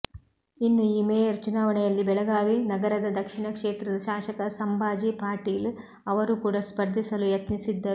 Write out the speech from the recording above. ಇನ್ನು ಈ ಮೇಯರ್ ಚುನಾವಣೆಯಲ್ಲಿ ಬೆಳಗಾವಿ ನಗರದ ದಕ್ಷಿಣ ಕ್ಷೇತ್ರದ ಶಾಸಕ ಸಂಭಾಜಿ ಪಾಟೀಲ್ ಅವರೂ ಕೂಡ ಸ್ಪರ್ಧಿಸಲು ಯತ್ನಿಸಿದ್ದರು